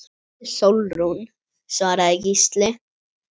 Hún heitir Sólrún, svaraði Gísli.